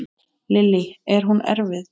Lillý: Er hún erfið?